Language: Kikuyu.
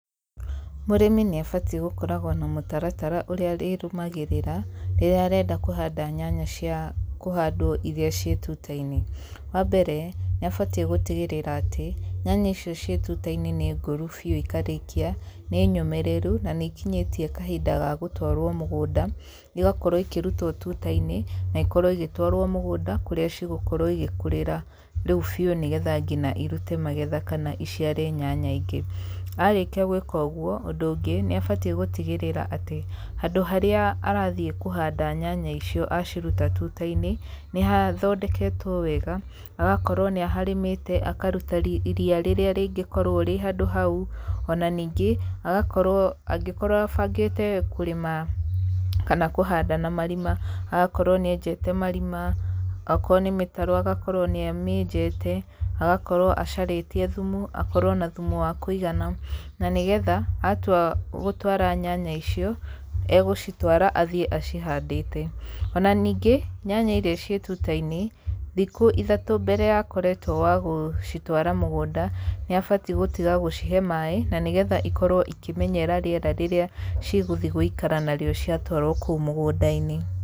Mũrĩmi nĩ abatiĩ gũkoragwo na mũtaratara ũrĩa arĩrũmagĩrĩra rĩrĩa arenda kũhanda nyanya cia kũhandwo iria ciĩ tuta-inĩ. Wambere nĩ abatie gũtigĩrĩra atĩ, nyanya icio ciĩ tuta-inĩ nĩ ngũru biũ ikarĩkia, nĩ nyũmĩrĩru, na nĩ ikinyĩtie kahinda ka gũtwarwo mũgũnda, igakorwo ikĩrutwo tuta-inĩ, na ikorwo igĩtwarwo mũgũnda kũrĩa cigũkorwo igĩkũrĩra rĩu biũ nĩgetha nginya irute magetha kana iciare nyanya ingĩ. Arĩkia gwĩka ũguo, ũndũ ũngĩ, nĩ abatie gũtigĩrĩra atĩ handũ harĩa arathiĩ kũhanda nyanya icio aciruta tuta-inĩ, nĩ hathondeketwo wega, hagakorwo nĩ aharĩmĩte, akaruta ria rĩrĩa rĩngĩkorwo rĩ handũ hau, ona ningĩ, agakorwo angĩkokorwo abangĩte kũrĩma kana kũhanda na marima, agakorwo nĩ enjete marima, akorwo nĩ mĩtaro agakorwo nĩ amĩenjete, agakorwo acarĩtie thumu akorwo na thumu wa kũigana, na nĩgetha atua gũtwara nyanya icio, rgũcitwara athiĩ ahandĩte, ona ningĩ, nyanya iria ciĩ tuta-inĩ, thikũ ithatũ mbere ya akoretwo wagũcitwara mũgũnda, nĩ abatie gũtiga gũcihe maĩ na nĩgetha ikorwo ikĩmenyera rĩera rĩrĩa cigũthiĩ gũikara narĩo ciatwarwo kũu mũgũnda-inĩ.